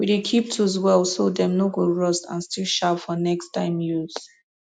we dey keep tools well so dem no go rust and still sharp for next time use